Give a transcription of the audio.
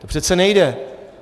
To přece nejde!